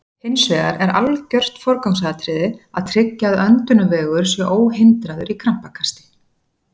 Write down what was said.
Hins vegar er algjört forgangsatriði að tryggja að öndunarvegur sé óhindraður í krampakasti.